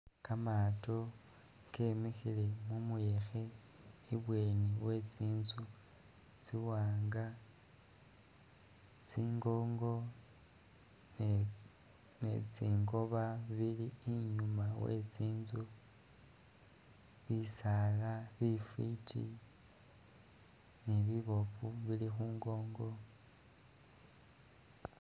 Kamaato kemikhile mu muyekhe ibweni we tsinzu tsiwanga, tsingongo ne ne tsingoba bili inyuma we tsinzu, bisaala bifwiti ni biboofu bili khu ngongo.